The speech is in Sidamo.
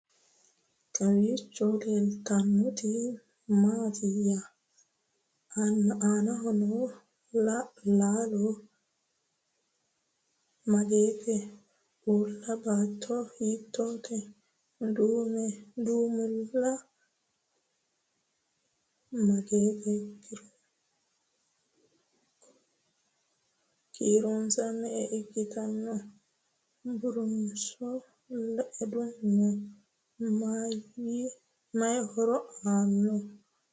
Kowiicho leelittannotti maattiya? Aannaho noo laallo mageette? Uulla baatto hiittotte? Du'mile mageette? Kiironsa me'e ikkanno? Burunso leadu noo? Mayi horo aanno?